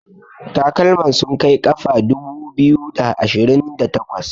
takalman sun Kai kafa dubu biyu da ashirinda takwas